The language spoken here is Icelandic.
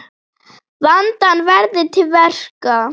Vandað verði til verka.